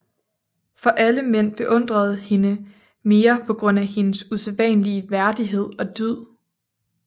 For alle mænd beundrede hende mere på grund af hendes usædvanlige værdighed og dyd